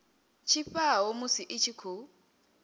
tshifhao musi i tshi khou